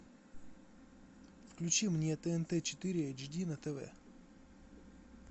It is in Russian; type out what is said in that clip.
включи мне тнт четыре эйч ди на тв